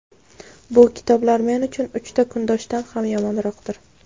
bu kitoblar men uchun uchta kundoshdan ham yomonroqdir.